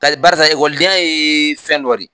Tari barisa ekɔlidenya ye fɛn dɔ de